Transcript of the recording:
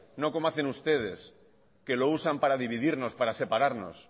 no como hacen ustedes que lo usan para dividirnos para separarnos